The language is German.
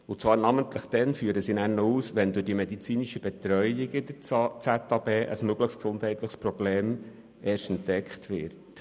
Es wird ausgeführt, dass dieser Fall namentlich erst dann gegeben ist, wenn durch die medizinische Betreuung ein mögliches gesundheitliches Problem entdeckt wird.